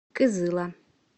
кызыла